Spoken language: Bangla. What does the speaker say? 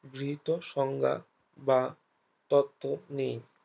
গৃহীত সংজ্ঞা বা তত্ত্ব নেই